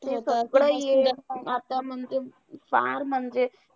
सगळं हे आता म्हणजे पार म्हणजे